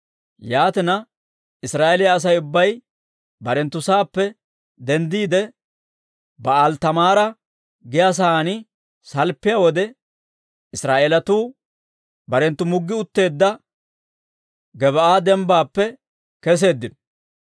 Yaatina, Israa'eeliyaa Asay ubbay barenttu saappe denddiide, Ba'aali-Taamaara giyaa saan salppiyaa wode, Israa'eelatuu barenttu muggi utteedda Gebaa'a Dembbaappe keseeddino;